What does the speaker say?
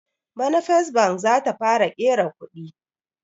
Bana first bank zata fara ƙera kuɗi